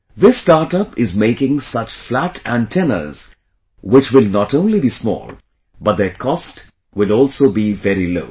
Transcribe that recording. This startup is making such flat antennas which will not only be small, but their cost will also be very low